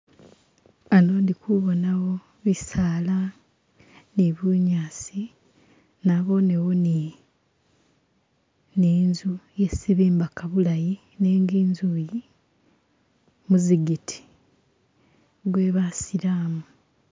Hano ndi kubonawo bisaala ni bunyaasi nabonewo ni ni inzu yesi bimbaka bulayi nenga inzu yi muzigiti gwe basilamu.